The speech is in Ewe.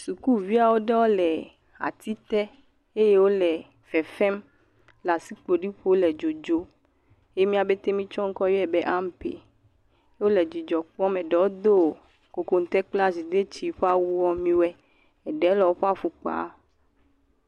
Sukuviawo aɖe le ati te eye wole fefem, le asikpoli ƒom le dzodzom, si mía pete mietsɔ ŋkɔ nɛ be ampe. Wole dzidzɔ kpɔm eɖewo do kokoŋte kple azidetsi mi we, eɖe le woƒe afɔ kpam.